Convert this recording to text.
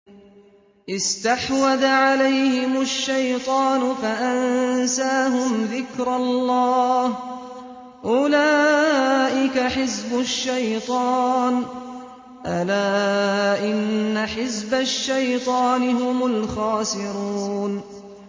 اسْتَحْوَذَ عَلَيْهِمُ الشَّيْطَانُ فَأَنسَاهُمْ ذِكْرَ اللَّهِ ۚ أُولَٰئِكَ حِزْبُ الشَّيْطَانِ ۚ أَلَا إِنَّ حِزْبَ الشَّيْطَانِ هُمُ الْخَاسِرُونَ